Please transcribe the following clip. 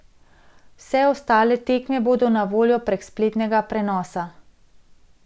Vse ostale tekme bodo na voljo prek spletnega prenosa.